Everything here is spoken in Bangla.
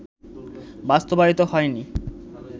বাস্তবায়িত হয়নি